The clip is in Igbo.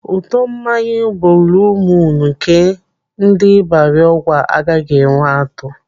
Ụtọ mmanya buuluu muun nke ndị Ibarị Ọgwa agaghị enwe atụ.